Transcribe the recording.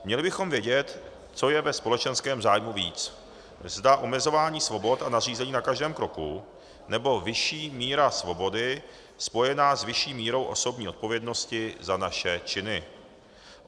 Měli bychom vědět, co je ve společenském zájmu víc, zda omezování svobod a nařízení na každém kroku, nebo vyšší míra svobody spojená s vyšší mírou osobní odpovědnosti za naše činy.